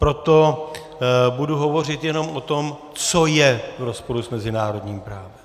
Proto budu hovořit jenom o tom, co je v rozporu s mezinárodním právem.